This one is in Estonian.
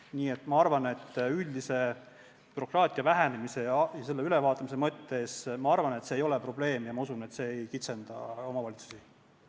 Nii et ma arvan, et üldise bürokraatia vähenemise ja selle ülevaatamise mõttes ei ole see probleem, ja ma usun, et see ei kitsenda omavalitsuste õigusi.